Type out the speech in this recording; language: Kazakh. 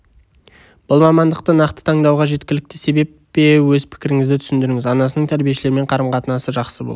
бұл мамандықты нақты таңдауға жеткілікті себеп пе өз пікіріңізді түсіндіріңіз анасының тәрбиешілермен қарым-қатынасы жақсы бұл